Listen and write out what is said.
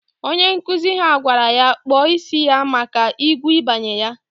Onye nkụzi ha gwara ya kpọ isi ya maka igwu ibanye ya!